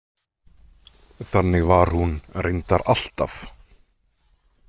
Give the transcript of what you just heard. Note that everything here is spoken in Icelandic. Þannig var hún reyndar alltaf.